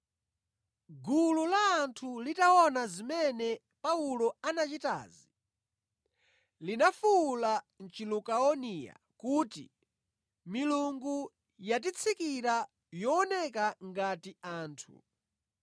Gulu la anthu litaona zimene Paulo anachitazi, linafuwula mʼChilukaoniya kuti, “Milungu yatitsikira yooneka ngati anthu!”